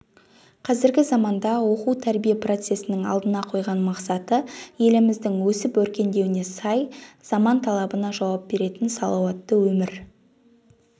қазіргі заманда оқу-тәрбие процесінің алдына қойған мақсаты еліміздің өсіп-өркендеуіне сай заман талабына жауап беретін салауатты өмір